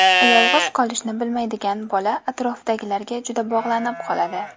Yolg‘iz qolishni bilmaydigan bola atrofidagilarga juda bog‘lanib qoladi.